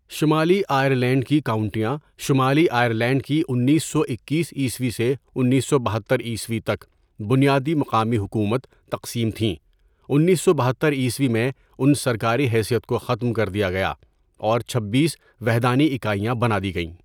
شمالی آئرلینڈ کی کاؤنٹیاں شمالی آئرلینڈ کی انیس سو اکیس عیسوی سے انیس سو بہتر عیسوی تک بنیادی مقامی حکومت تقسیم تھیں انیس سو بہتر عیسوی میں ان سرکاری حیثیت کو ختم کر دیا گیا اور چھببیس وحدانی اکاَئیاں بنا دی گئیں.